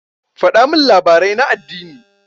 Faɗa min labari na addini.